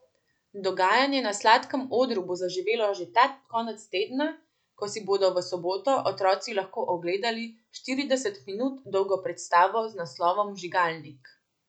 Dogajanje na Sladkem odru bo zaživelo že ta konec tedna, ko si bodo v soboto otroci lahko ogledali štirideset minut dolgo predstavo z naslovom Vžigalnik.